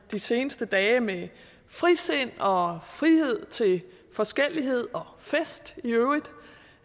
de seneste dage med frisind og frihed til forskellighed og fest i øvrigt